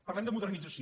parlem de modernització